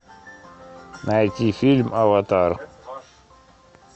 найти фильм аватар